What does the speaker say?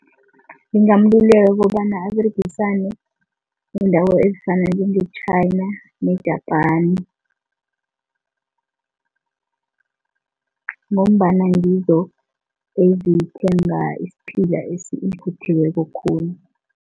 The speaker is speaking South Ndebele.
Ngingamluleka ukobana aberegisane neendawo ezifana njenge-China ne-Japan ngombana ngizo ezithenga isiphila esivuthiweko khulu.